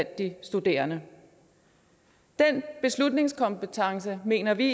de studerende den beslutningskompetence mener vi